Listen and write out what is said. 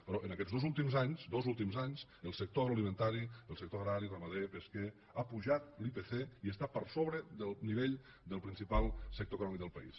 però en aquests dos últims anys dos últims anys el sector agroalimentari el sector agrari ramader pesquer ha pujat l’ipc i està per sobre del nivell del principal sector econòmic del país